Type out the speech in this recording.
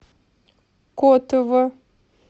котово